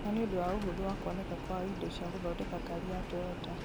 na nĩ ũndũ wa ũhũtho wa kũonĩka kwa indo cia gũthondeka ngari cia Toyota.